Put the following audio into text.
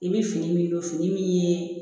I bɛ fini min don fini min ye